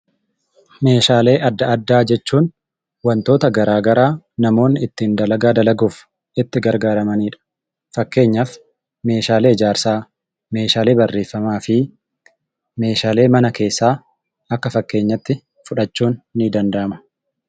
Meeshaalee adda addaa jechuun wantoota garaa garaa namoonni ittiin dalagaa dalaguuf itti gargaaramanidha. Akka fakkeenyaatti meeshaalee ijaarsaa, meeshaalee barreeffamaa fi meeshaalee mana keessaa fa'i kaasuun ni danda'ama.